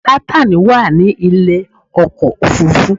Nátànì wà ní ilé ọkọ̀ òfurufú